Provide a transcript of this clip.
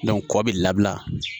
kɔ bi labila